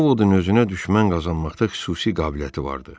Ovodun özünə düşmən qazanmaqda xüsusi qabiliyyəti vardı.